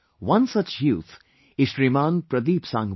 One such youth is Shriman Pradeedp Sangwan